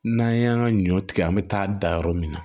N'an y'an ka ɲɔ tigɛ an be taa da yɔrɔ min na